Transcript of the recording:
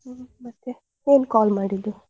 ಹ್ಮ್ ಮತ್ತೆ ಏನ್ call ಮಾಡಿದ್ದು?